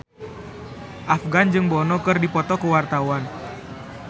Afgan jeung Bono keur dipoto ku wartawan